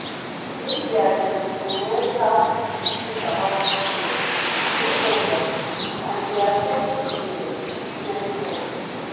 media dey influence how people think about sickness based on their belief and e dey affect treatment treatment choice.